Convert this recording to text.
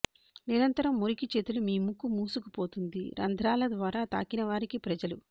నిరంతరం మురికి చేతులు మీ ముక్కు మూసుకుపోతుంది రంధ్రాల ద్వారా తాకిన వారికి ప్రజలు